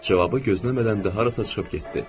Cavabı gözləmədən də harasa çıxıb getdi.